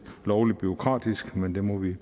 lovlig bureaukratisk men det må vi